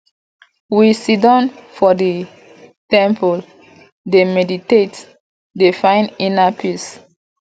we siddon for di temple dey meditate dey find inner peace